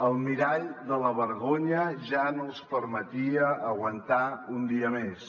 el mirall de la vergonya ja no els permetia aguantar un dia més